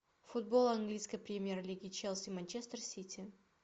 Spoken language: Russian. футбол английской премьер лиги челси манчестер сити